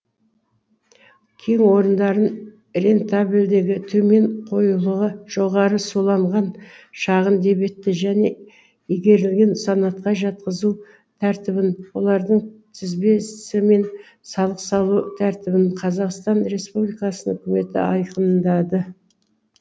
кен орындарын рентабелдігі төмен қоюлығы жоғары суланғын шағын дебетті және игерілген санатқа жатқызу тәртібін олардың тізбесі мен салық салу тәртібін қазақстан республикасының үкіметі айқындады